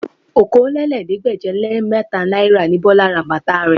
Okòólélẹ́ẹ̀ẹ́dégbèje-le-mẹ́ta náírà ni Bọlá ra bàtà rẹ̀